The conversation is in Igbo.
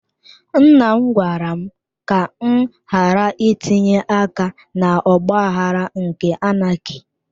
Nnam gwara m ka m ghàrà itinye aka na ọgbaghara nke anaki